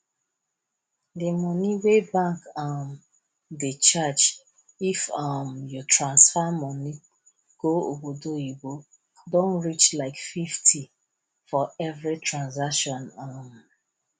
the money wey bank um dey charge if um you transfer money go obodoyibo don reach like fifty for every transaction um